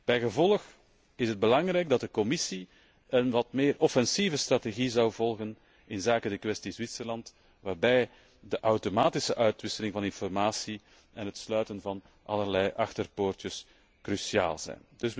Bijgevolg is het belangrijk dat de Commissie een wat meer offensieve strategie volgt inzake de kwestie Zwitserland, waarbij de automatische uitwisseling van informatie en het sluiten van allerlei achterpoortjes cruciaal zijn.